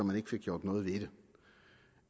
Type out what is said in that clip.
man ikke fik gjort noget ved det